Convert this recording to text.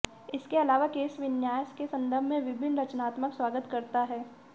इसके अलावा केशविन्यास के संदर्भ में विभिन्न रचनात्मक स्वागत करता है